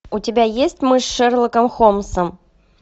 у тебя есть мы с шерлоком холмсом